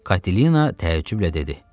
Katilina təəccüblə dedi.